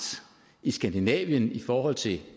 i skandinavien i forhold til